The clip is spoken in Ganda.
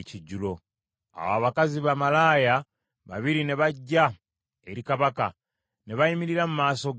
Awo abakazi bamalaaya babiri ne bajja eri kabaka, ne bayimirira mu maaso ge.